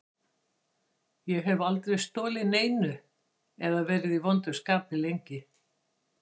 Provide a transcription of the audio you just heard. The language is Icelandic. Ég hef aldrei stolið neinu eða verið í vondu skapi lengi.